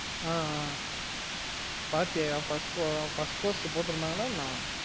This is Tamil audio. ஆஹ் ஆஹ் பாத்தியா யா first bose ல போட்டுருந்தாங்கள எனா